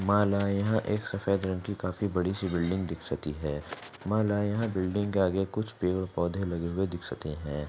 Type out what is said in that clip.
माला यहाँ एक सफेद रंग की काफी बडी सी बिल्डिंग दिक्सती है माला यहाँ बिल्डिंग के आज कुछ पेड पौधे लगे हुए दिक्सते है।